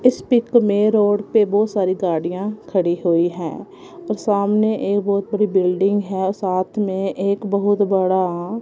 इस पिक में रोड पे बहोत सारी गाड़ियां खड़ी हुई है और सामने एक बहुत बड़ी बिल्डिंग है और साथ में एक बहुत बड़ा--